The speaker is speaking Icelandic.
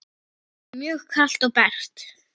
Mjög kalt og bert.